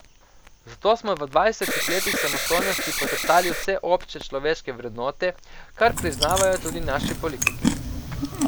Zato smo v dvajsetih letih samostojnosti poteptali vse obče človeške vrednote, kar priznavajo tudi naši politiki.